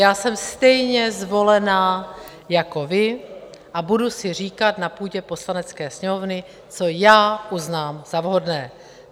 Já jsem stejně zvolená jako vy a budu si říkat na půdě Poslanecké sněmovny, co já uznám za vhodné.